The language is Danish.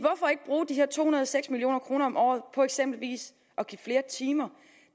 her to hundrede og seks million kroner om året på eksempelvis at give flere timer